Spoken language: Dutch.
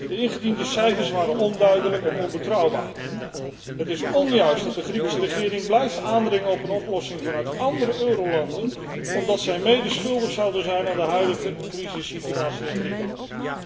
De ingediende cijfers waren onduidelijk en onbetrouwbaar. Het is onjuist dat de Griekse regering blijft aandringen op een oplossing vanuit andere eurolanden omdat zij mede schuldig zouden zijn aan de huidige crisissituatie in Griekenland.